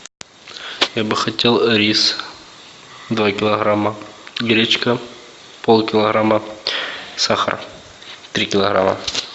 я бы хотел рис два килограмма гречка пол килограмма сахар три килограмма